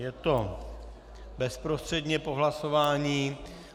Je to bezprostředně po hlasování.